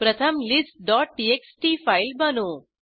प्रथम listटीएक्सटी फाईल बनवू